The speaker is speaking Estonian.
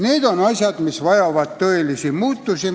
Need asjad annavad põhjuse tõelisteks muutusteks.